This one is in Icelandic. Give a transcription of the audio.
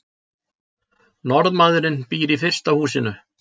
norðmaðurinn býr í fyrsta húsinu